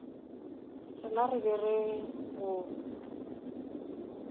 rena re be re go